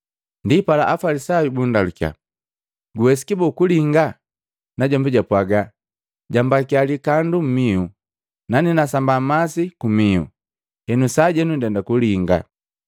Ndipala Afalisayu bundalukiya, “Guwesiki bo kulinga?” Najombi jaapwajila, “Jambakia likandu mmihu, nane nasamba masi kumihu, henu sajenu ndenda kulinga.”